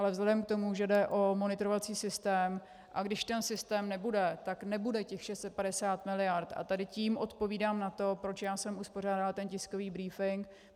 Ale vzhledem k tomu, že jde o monitorovací systém, a když ten systém nebude, tak nebude těch 650 miliard - a tady tím odpovídám na to, proč já jsem uspořádala ten tiskový brífink.